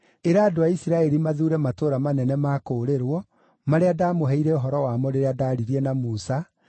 “Ĩra andũ a Isiraeli mathuure matũũra manene ma kũũrĩrwo, marĩa ndamũheire ũhoro wamo rĩrĩa ndaaririe na Musa,